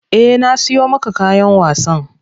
Eh na siyo maka kayan wasan.